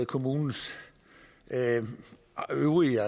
kommunes øvrige